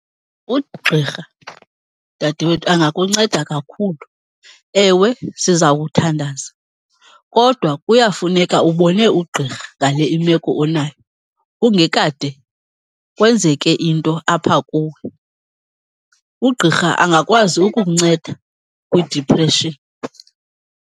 Ugqirha, dadewethu, angakunceda kakhulu. Ewe, siza kuthandaza kodwa kuyafuneka ubone ugqirha ngale imeko onayo, kungekade kwenzeke into apha kuwe. Ugqirha angakwazi ukukunceda kwi-depression.